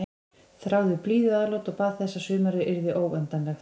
Þráði blíðuatlot og bað þess að sumarið yrði óendanlegt.